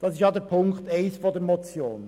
Dies betrifft den Punkt 1 der Motion.